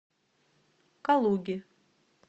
калуге